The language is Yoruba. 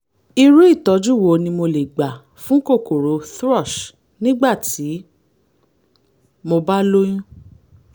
irú ìtọ́jú wo ni mo lè gbà fún kòkòrò thrush nígbà tí mo bá lóyún?